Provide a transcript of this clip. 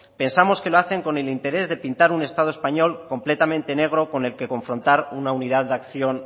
pensamos que lo hace con el interés de pintar un estado español completamente negro con el que confrontar una unidad de acción